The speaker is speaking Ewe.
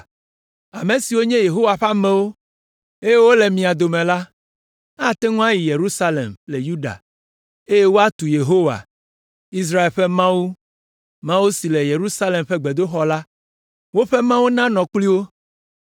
Ame siwo nye Yehowa ƒe amewo, eye wole mia dome la, ate ŋu ayi Yerusalem le Yuda, eye woatu Yehowa, Israel ƒe Mawu, Mawu si le Yerusalem ƒe gbedoxɔ la. Woƒe Mawu nanɔ kpli wo.